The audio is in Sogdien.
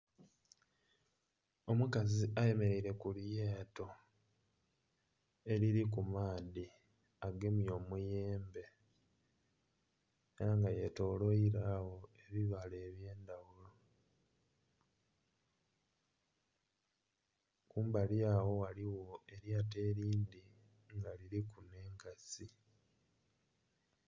Omukazi ayemereire ku lyato eriri ku maadhi agemye omuyembe era nga yetolwairwa gho ebibala ebyendhaghulo, kumbali agho ghaligho eryato erindhi nga liri ku n'enkasi.